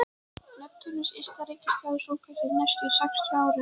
Neptúnus ysta reikistjarna sólkerfisins næstu sextíu árin.